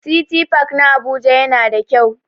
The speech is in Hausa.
City park na Abuja yana da kyau.